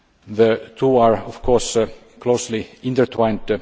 The two are of course closely intertwined.